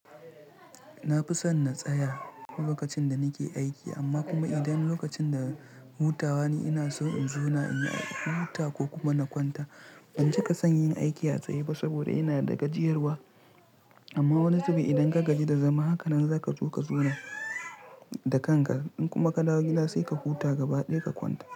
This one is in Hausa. Na fi son na tsaya lokacin da nake aiki amma kuma idan lokacin da hutawa ne ina so in zauna inyi huta ko kuma na kwanta. Ban cika son yin aiki a tsaye ba saboda yana da gajiyarwa amma wani zube idan ka gaji da zama hakanan za ka so ka zauna da kanka. In kuma ka dawo gida sai ka huta gaba ɗaya ka kwanta.